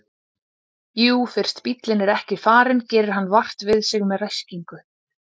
Jú fyrst bíllinn er ekki farinn gerir hann vart við sig með ræskingu.